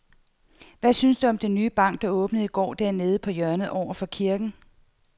Hvad synes du om den nye bank, der åbnede i går dernede på hjørnet over for kirken?